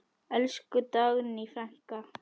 Elsku Dagný frænka.